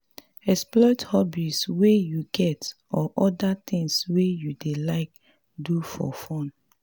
explore hobbies wey you get or oda things wey you dey like do for fun